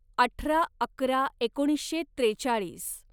अठरा अकरा एकोणीसशे त्रेचाळीस